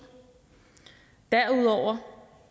derudover